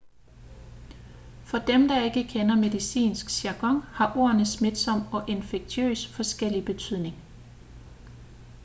for dem der ikke kender medicinsk jargon har ordene smitsom og infektiøs forskellig betydning